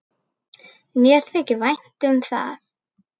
Mér þykir vænt um það.